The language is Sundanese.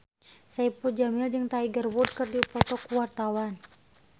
Saipul Jamil jeung Tiger Wood keur dipoto ku wartawan